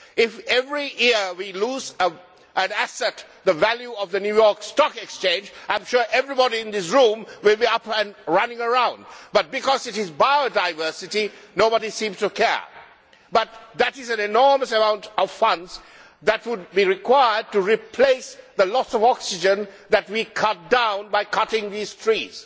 If, every year, we lost an asset with the value of the New York Stock Exchange, I am sure everybody in this room would be up and running around, but because it is biodiversity, nobody seems to care. That is an enormous amount of funding that would be required to replace the loss of oxygen that we cut down by cutting these trees.